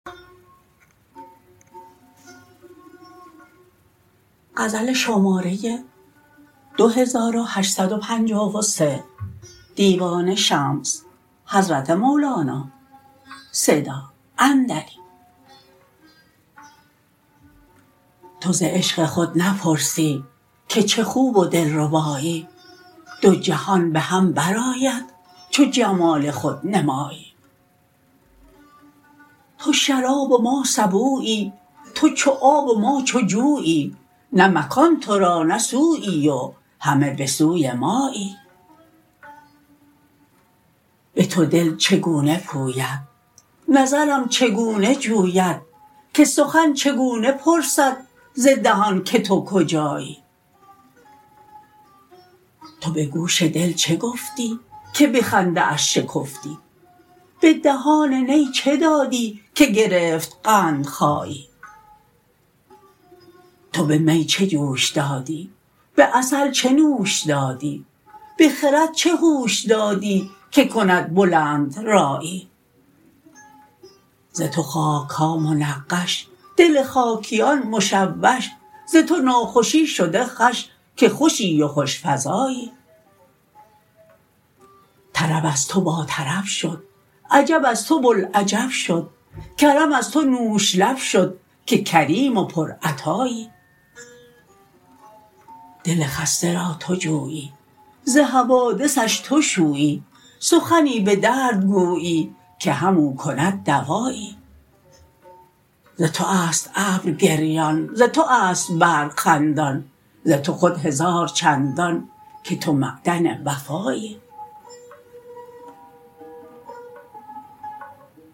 تو ز عشق خود نپرسی که چه خوب و دلربایی دو جهان به هم برآید چو جمال خود نمایی تو شراب و ما سبویی تو چو آب و ما چو جویی نه مکان تو را نه سویی و همه به سوی مایی به تو دل چگونه پوید نظرم چگونه جوید که سخن چگونه پرسد ز دهان که تو کجایی تو به گوش دل چه گفتی که به خنده اش شکفتی به دهان نی چه دادی که گرفت قندخایی تو به می چه جوش دادی به عسل چه نوش دادی به خرد چه هوش دادی که کند بلندرایی ز تو خاک ها منقش دل خاکیان مشوش ز تو ناخوشی شده خوش که خوشی و خوش فزایی طرب از تو باطرب شد عجب از تو بوالعجب شد کرم از تو نوش لب شد که کریم و پرعطایی دل خسته را تو جویی ز حوادثش تو شویی سخنی به درد گویی که همو کند دوایی ز تو است ابر گریان ز تو است برق خندان ز تو خود هزار چندان که تو معدن وفایی